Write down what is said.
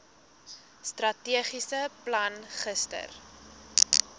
strategiese plan gister